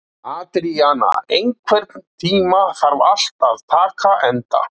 Adríana, einhvern tímann þarf allt að taka enda.